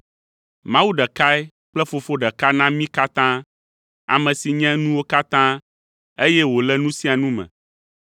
Mawu ɖekae kple Fofo ɖeka na mí katã, ame si nye nuwo katã, eye wòle nu sia nu me.